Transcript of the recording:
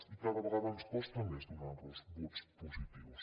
i cada vegada ens costa més donar los vots positius